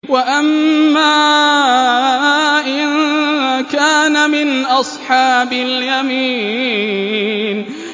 وَأَمَّا إِن كَانَ مِنْ أَصْحَابِ الْيَمِينِ